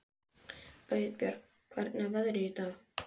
Auðbjört, hvernig er veðrið í dag?